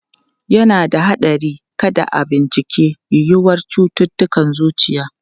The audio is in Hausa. Yana da haɗari kada a bincika yiwuwar cututtukan zuciya.